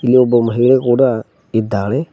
ಇಲ್ಲಿ ಒಬ್ಬ ಮಹಿಳೆ ಕೂಡ ಇದ್ದಾಳೆ.